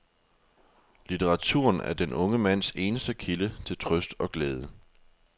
Litteraturen er den unge mands eneste kilde til trøst og glæde.